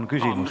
Aa!